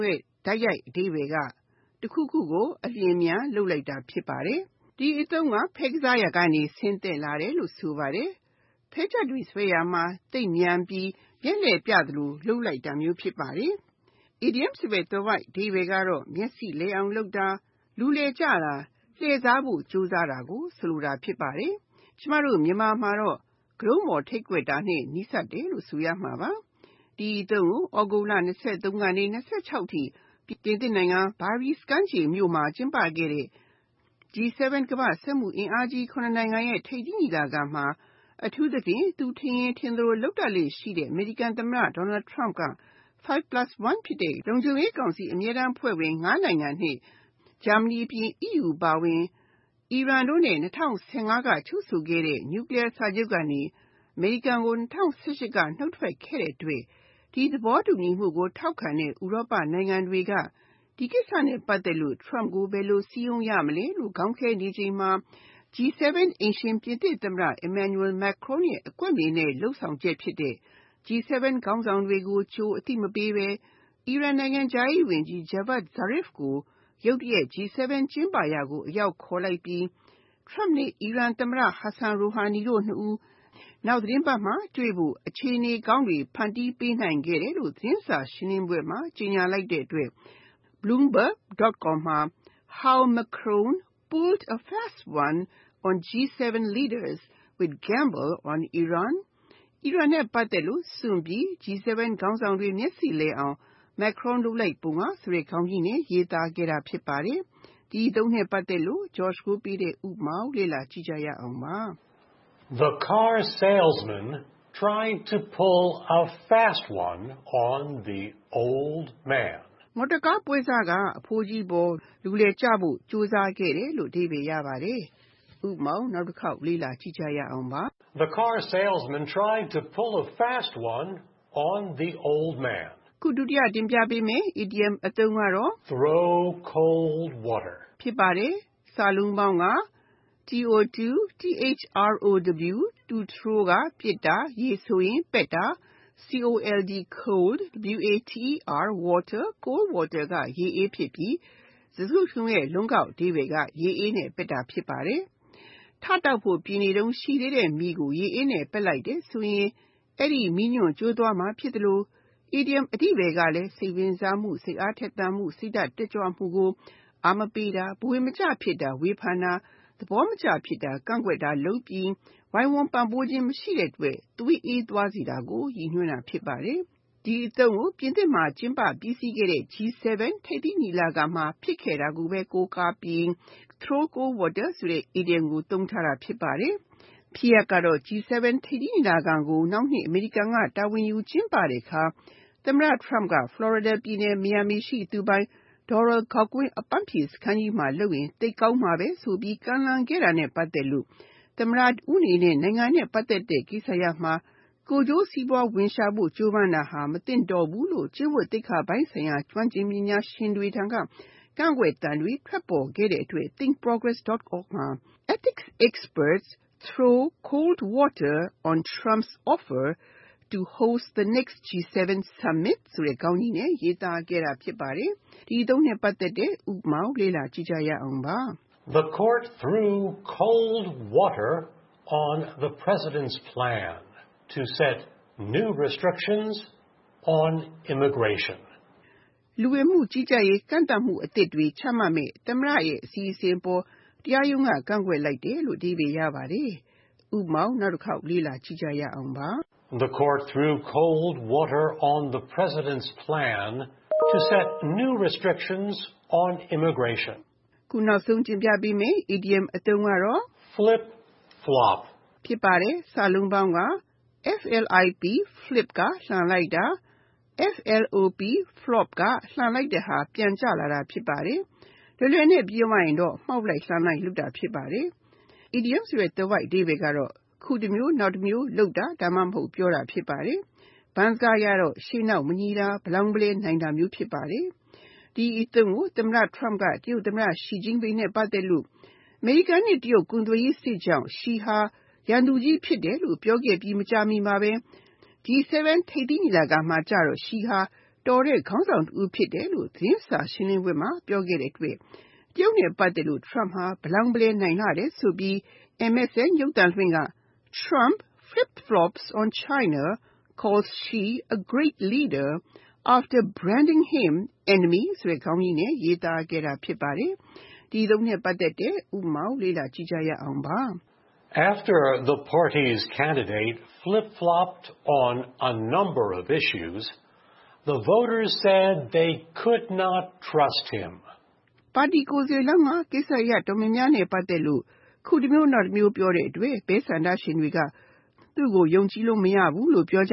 ရဲ့ တိုက်ရိုက်အဓိပ္ပါယ်က တစ်ခုခုကို အလျင်အမြန်လုပ်လိုက်တာ ဖြစ်ပါတယ်။ ဒီအသုံးက ဖဲကစားရာကနေ ဆင်းသက်လာတယ်လို့ဆိုပါတယ်။ ဖဲချပ်တွေဆွဲရာမှာ သိပ်မြန်ပြီး မျက်လှည့်ပြသလို လုပ်တာမျိုး ဖြစ်ပါတယ်။ Idiom ဆိုတဲ့ သွယ်ဝိုက်အဓိပ္ပာယ်က မျက်စိလည်အောင်လုပ်တာ ၊ လူလည်ကျတာ၊ လှည့်စားဖို့ ကြိုးစားတာကို ဆိုလိုပါတယ်။ ကျမတို့ မြန်မာမှာတော့ ကတုံးပေါ်ထိပ်ကွက်တာနဲ့ နီးစပ်တယ်လို့ဆိုရမှာပါ၊ ဒီအသုံးကို August လ (၂၃) ကနေ (၂၆) အထိ ပြင်သစ် နိုင်ငံ Biarrietz ကမ်းခြေမြို့မှာ ကျင်းပခဲ့တဲ့ G -7 ကမ္ဘာ့စက်မှှုအင်အားကြီး (၇) နိုင်ငံရဲ့ ထိပ်သီးညီလာခံမှာ အထူးသဖြင့်၊ သူထင်ရင်ထင်သလို လုပ်လေ့ရှိတဲ့ အမေရိကန်သမ္မတ Donald Trump က 5 plus 1 ဖြစ်တဲ့ လုံခြုံရေးကောင်စီ အမြဲတန်းအဖွဲ့ဝင် (၅) နိုင်ငံ နဲ့ ဂျာမဏီ အပြင် EU အပါအဝင်၊ အီရန်နဲ့ ၂၀၁၅ က ချုုပ်ဆိုခဲ့တဲ့ Nuclear စာချုပ်ကနေ အမေရိကန်ကို ၂၀၁၈ က နှုတ်ထွက်ခဲ့တဲ့အတွက်၊ ဒီသဘောတူညီမှုကို ထောက်ခံတဲ့ ဥရောပနိုင်ငံတွေက ဒီကိစ္စနဲ့ ပတ်သက်လို့ Trump ကို ဘယ်လိုစည်းရုံးရမလဲလို့ ခေါင်းခဲနေကြချိန်မှာ၊ G -7 အိမ်ရှင်ပြင်သစ်သမ္မတ Emmanuel Macron ရဲ့ အကွက်မြင်တဲ့ လုပ်ဆောင်ချက်ဖြစ်တဲ့ G- 7 ခေါင်းဆောင်တွေကို ကြိုတင်အသိမပေးဘဲ၊ အီရန်နိုင်ငံခြားရေးဝန်ကြီး Javad Zarif ကို ရုတ်တရက် G-7 ကျင်းပရာကို အရောက်ခေါ်လိုက်ပြီး၊ Trump နဲ့ အီရန်သမ္မတ Hassan Rouhani တို့ နှစ်ဦး နောက်သတင်းပတ်တွေမှာ တွေ့ဆုံဖို့ အခြေအနေကောင်းတွေ ဖန်တီးပေးနိုင်ခဲ့တယ်လို့သတင်းစာရှင်းလင်းပွဲမှာ ကြေငြာလိုက်တဲ့အတွက် Bloomberg.com မှာ How Macron Pulled a Fast One on G-7 Leaders With Gamble on Iran အီရန်နဲ့ ပတ်သက်လို့ စွန့်စားပြီး G-7 ခေါင်းဆောင်တွေ မျက်စေ့လည်အောင် Macron လိုက်ပုံက ဆိုတဲ့ခေါင်းကြီးနဲ့ ရေးသားခဲ့တာ ဖြစ်ပါတယ်။ ဥပမာ - The car salesman tried to “pull a fast one” on the old man. မော်တော်ကားပွဲစားက အဖိုးကြီးအပေါ်လူလည်ကျဖို့ ကြိုးစားခဲ့တယ်။ (၂) Throw Cold Water Throw (ပစ်တာ၊ ရေဆိုရင် ပက်တာ)၊ cold water (ရေအေး) ဖြစ်ပြီး စကားစုတစ်ခုလုံးရဲ့ လုံးကောက်အဓိပ္ပါယ်က ရေအေးနဲ့ ပက်တာ ဖြစ်ပါတယ်။ ထတောက်ဖို့ ပြင်နေတုံးရှိသေး တဲ့မီးကို ရေအေးနဲ့ ပက်လိုက်တယ်ဆိုရင် အဲဒီမီးညွန့် ကျိုးသွားမှာဖြစ်သလို ၊ အီဒီယံအဓိပ္ပါယ်ကလည်း စိတ်ဝင်စားမှု၊ စိတ်အားထက်သန်မှု၊ စိတ်ဓါတ်တက်ကြွမှုကို အားမပေးတာ၊ ဘဝင်မကျဖြစ်တာ၊ ဝေဖန်တာ၊ သဘောမကျဖြစ်တာ၊ ကန့်ကွက်တာလုပ်ပြီး၊ ဝိုင်းဝန်းပံ့ပိုးခြင်း မရှိတဲ့အတွက် သွေးအေးသွားစေတာကို ရည်ညွှန်းတာ ဖြစ်ပါတယ်။ ပြင်သစ်မှာ ကျင်းပပြီးစီးခဲ့တဲ့ G-7 ထိပ်သီးညီလာခံမှာ ဖြစ်ခဲ့တာကို ကိုးကားပြီး Throw cold water ဆိုတဲ့ Idiom ကို သုံးထားတာဖြစ်ပါတယ်။ ဖြစ်ရပ်ကတော့ G-7 ထိပ်သီးညီလာခံကို နောက်နှစ်မှာ အမေရိကန်က တာဝန်ယူကျင်းပတဲ့အခါ သမ္မတ Trump က Florida ပြည်နယ် Miami ရှိ သူပိုင် Doral ဂေါက်ကွင်း အပန်းဖြေစခန်းကြီးမှာ လုပ်ရင်သိပ်ကောင်းမှာပဲဆိုပြီး ကမ်းလှမ်းခဲ့တာနဲ့ ပတ်သက်လို့ သမ္မတတဦးအနေနဲ့ နိုင်ငံနဲ့ ပတ်သက်တဲ့ကိစ္စရပ်မှာ ကိုယ်ကျိုးစီးပွားဝင်ရှာဖို့ ကြိုးပမ်းတာဟာ မသင့်တော်ဘူးလို့ ကျင့်ဝတ်ပိုင်းဆိုင်ရာ ကျွမ်းကျင်ပညာရှင်တွေထံမှ ကန့်ကွက်သံတွေ ထွက်ပေါ်ခဲ့တဲ့အတွက် Thinkprogress.org မှာ Ethics experts throw cold water on Trump’s offer to host the next G7 summit ဆိုတဲ့ခေါင်းကြီး ရေးသားခဲ့ကြတာ ဖြစ်ပါတယ်။ ဥပမာ The court “threw cold water” on the President’s plan to set new restrictions on immigration. လူဝင်မှုကြီးကြပ်ရေး ကန့်သတ်မှုတွေ အသစ်တွေ ချမှတ်မယ့် သမ္မတရဲ့ အစီအစဉ်အပေါ် တရားရုံးက ကန့်ကွက်လိုက်တယ်။ (၃) Flip Flop Flip (လှန်လိုက်တာ)၊ flop (လှန်လိုက်တဲ့ဟာက ပြန်ကျလာတာ) ဖြစ်ပါတယ်။ လုံးကောက်အဓိပ္ပါယ်ကို အရှင်းဆုံးပြောရရင် မှောက်လိုက်၊ လှန်လိုက်လုပ်တာ ဖြစ်ပါတယ်။ အီဒီယံသွယ်ဝိုက်အဓိပ္ပါယ်က အခုတမျိုး နောက်တမျိုး ပြောတာမျိုး ဒါမှမဟုတ် လုပ်တာမျိုး ဖြစ်ပါတယ်။ ဘန်းစကားအရတော့ ရှေ့နောက်မညီတာ၊ ဗလောင်းဗလဲနိုင်တာမျိုး ဖြစ်ပါတယ်။ ဒီအသုံးကိုသမ္မတ Trump က တရုတ်သမ္မတ Xi Jinping နဲ့ ပတ်သက်လို့ အမေရိကန်နဲ့ တရုတ် ကုန်သွယ်ရေးစစ်ကြောင့် Xi ဟာ ရန်သူကြီး ဖြစ်တယ်လို့ ပြောခဲ့ပြီး မကြာမီမှာဘဲ G-7 ထိပ်သီးညီလာခံမှာတော့ Xi ဟာ အလွန်တော်တဲ့ ခေါင်းဆောင်တဦး ဖြစ်ပါတယ်လို့သတင်းစာရှင်းလင်းပွဲမှာ ပြောခဲ့တဲ့အတွက် တရုတ်နဲ့ ပတ်သက်လို့ Trump ဟာ ဗလောင်းဗလဲ နိုင်လှတယ်ဆိုပြီး MSN ရုပ်သံလွှင့်ဌာနက Trump flip-flops on China, calls Xi a ‘great leader’ after branding him ‘enemy’ ဆိုတဲ့ခေါင်းကြီးနဲ့ ရေးသားခဲ့တာ ဖြစ်ပါတယ်။ ဥပမာ After the party’s candidate “flip-flopped” on a number of issues, the voters said they could not trust him. ပါတီကိုယ်စားလှယ်လောင်းက ကိစ္စအတော်များများနဲ့ ပတ်သက်လို့၊ အခုတမျိုး နောက်တမျိုး ပြောတဲ့အတွက်၊ မဲဆန္ဒရှင်တွေက သူ့ကို ယုံကြည်လို့ မရဘူးလို့ ပြောက